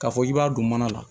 K'a fɔ k'i b'a don mana la